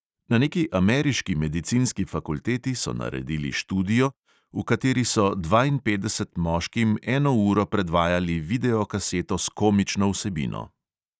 Na neki ameriški medicinski fakulteti so naredili študijo, v kateri so dvainpetdeset moškim eno uro predvajali videokaseto s komično vsebino.